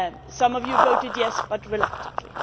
Some of you voted yes, but reluctantly.